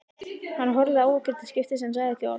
Hann horfði á okkur til skiptis en sagði ekki orð.